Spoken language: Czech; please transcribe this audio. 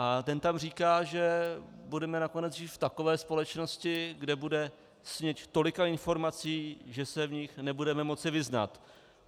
A ten tam říká, že budeme nakonec žít v takové společnosti, kde bude změť tolika informací, že se v nich nebudeme moci vyznat.